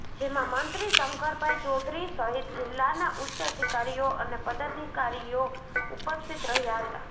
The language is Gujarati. જેમાં મંત્રી શંકરભાઈ ચૌધરી સહિત જિલ્લાના ઉચ્ચ અધિકારીઓ અને પદાધિકારીઓ ઉપસ્થિત રહ્યા હતા